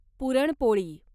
puran poli